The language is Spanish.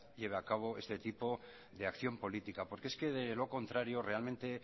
lleve a cabo este tipo de acción política porque es que de lo contrario realmente